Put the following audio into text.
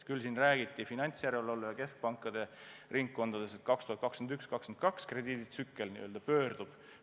Küll aga räägiti finantsjärelevalve ja keskpankade ringkondades, et 2021–2022 krediiditsükkel pöördub.